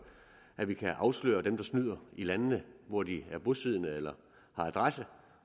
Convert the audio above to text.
at vi kan afsløre dem der snyder i landene hvor de er bosiddende eller har adresse